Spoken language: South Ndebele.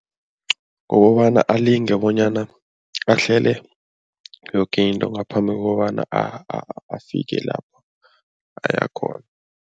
Kukobana alinge bonyana ahlele yoke into ngaphambi kokobana afike lapho aya khona.